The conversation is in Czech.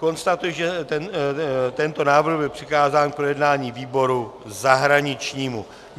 Konstatuji, že tento návrh byl přikázán k projednání výboru zahraničnímu.